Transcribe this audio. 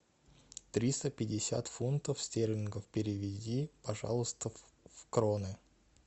триста пятьдесят фунтов стерлингов переведи пожалуйста в кроны